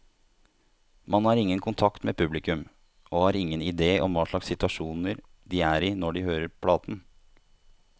Man har ingen kontakt med publikum, og har ingen idé om hva slags situasjon de er i når de hører platen.